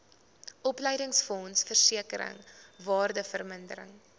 opleidingsfonds versekering waardevermindering